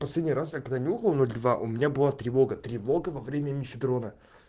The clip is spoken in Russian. последний раз я когда нюхал ноль два у меня была тревога тревога во время мефедрона